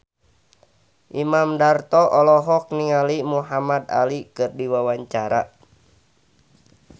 Imam Darto olohok ningali Muhamad Ali keur diwawancara